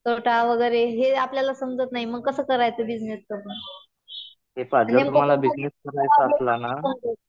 तोटा वगैरे हे आपल्याला समजत नाही. मग कसं करायचं बिजनेसचं. नेमकं